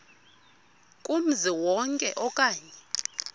kumzi wonke okanye